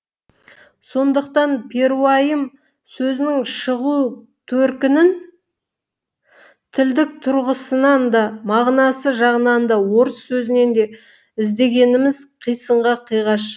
сондықтан перуайым сөзінің шығу төркінін тілдік тұрғысынан да мағынасы жағынан да орыс сөзінен іздегеніміз қисынға қиғаш